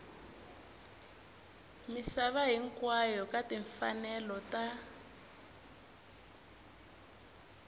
misava hinkwayo ka timfanelo ta